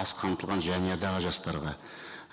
аз қамтылған жанұядағы жастарға